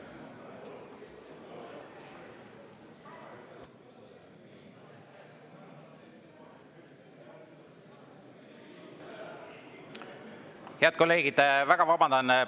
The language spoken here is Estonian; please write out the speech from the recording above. Head kolleegid, väga vabandan!